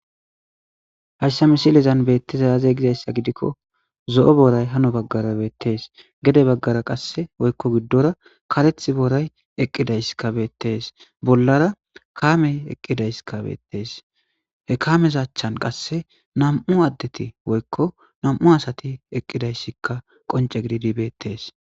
hayshsa misilezan beettiza aze gizayssa gidikko zo'o booray hano baggara beettees gede baggara qasse woykko giddora kareth booray eqqidays kabeettees bollara kaamey eqqidayska beettees he kaameza achchan qasse nam'u addeti woykko namu asati eqqidayssikka qonce gididi beettes